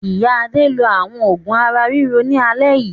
Ìyá Adé lo àwọn òògùn ara-ríro ní alẹ́ yìí.